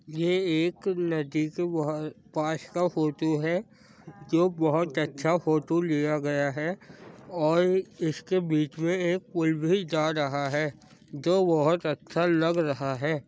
ये एक नदी के बोह पास का फ़ोटो है। जो बोहोत अच्छा फ़ोटो लिया गया है और एश के बीच में एक पुल भी जा रहा हैजो बोहोत अच्छा लग रहा है।